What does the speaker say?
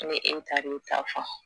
Ne e tar'i ta fɔ